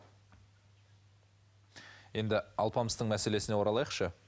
енді алпамыстың мәселесіне оралайықшы